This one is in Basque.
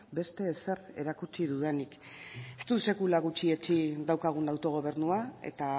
beste ezer erakutsi dudanik ez dut sekula gutxietsi daukagun autogobernua eta